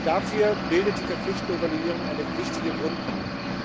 Dafür bildet die verpflichtende Evaluierung eine wichtige Grundlage.